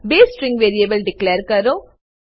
બે string variable declare કરો